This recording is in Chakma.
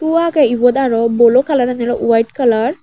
hu agey ibot aro bolo kalarani oley waet kalar .